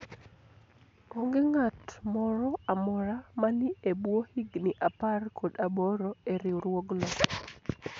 onge ng'at moro amora mani e bwo higni apar kod aboro e riwruogno